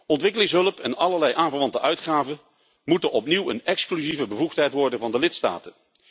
Ontwikkelingshulp en allerlei aanverwante uitgaven moeten opnieuw een exclusieve bevoegdheid worden van de lidstaten.